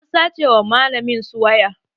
An sace wa malamin su waya